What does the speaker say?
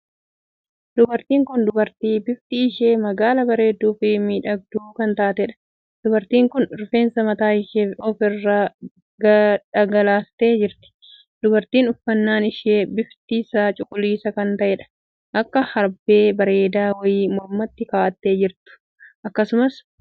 Dubartiin kun dubartii bifti ishee magaala bareedduu fi miidhagduu kan taateedha. dubartiin kun rifeensa mataa ishee of irraa dhagaleeste jirti. dubartiin uffannaan ishee bifti isaa cuquliisa kan taheedha. akka herbee bareedaa wayii mormatti kaa'atte jirtu akkasumas mudhiin qabattee dhaabbachaa jirtiim!